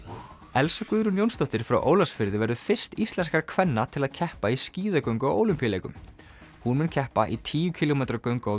Elsa Guðrún Jónsdóttir frá Ólafsfirði verður fyrst íslenskra kvenna til að keppa í skíðagöngu á Ólympíuleikum hún mun keppa í tíu kílómetra göngu á